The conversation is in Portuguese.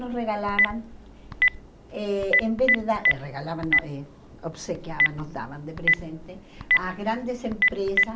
Nos regalavam, eh em vez de dar, regalavam, não eh obsequiavam, nos davam de presente a grandes empresas